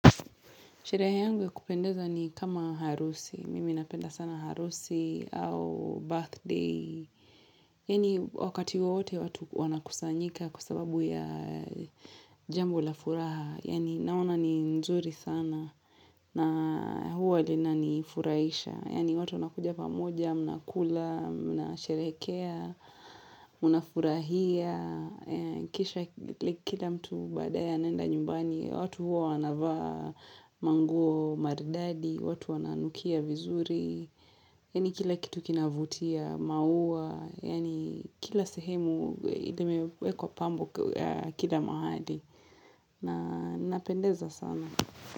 Sherehe yangu ya kupendeza ni kama harusi. Mimi napenda sana harusi au birthday. Yani wakati wowote watu wanakusanyika kwasababu ya jambo la furaha. Yani naona ni nzuri sana na huwa lina ni furahisha. Yani watu wanakuja pamoja, mnakula, mnasherehekea, mnafurahia. Kisha like kila mtu baadae anaenda nyumbani watu huwa wanavaa manguo maridadi watu wananukia vizuri Yani kila kitu kinavutia maua Yani kila sehemu limewekwa pambo Kila mahali na napendeza sana.